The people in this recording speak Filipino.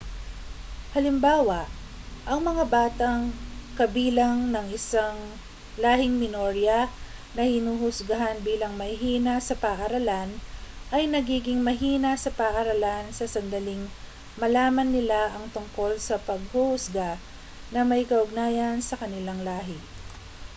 halimbawa ang mga batang kabilang ng isang lahing minorya na hinuhusgahan bilang mahihina sa paaralan ay nagiging mahina sa paaralan sa sandaling malaman nila ang tungkol sa panghuhusga na may kaugnayan sa kanilang lahi